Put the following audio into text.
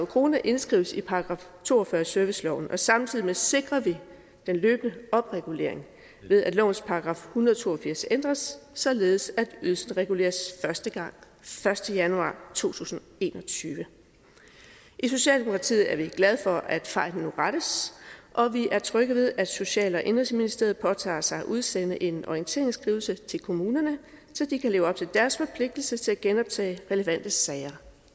kroner indskrives i § to og fyrre i serviceloven og samtidig med det sikrer vi den løbende opregulering ved at lovens § hundrede og to og firs ændres således at ydelsen reguleres første gang første januar to tusind og en og tyve i socialdemokratiet er vi glade for at fejlen nu rettes og vi er trygge ved at social og indenrigsministeriet påtager sig at udsende en orienteringsskrivelse til kommunerne så de kan leve op til deres forpligtelse til at genoptage relevante sager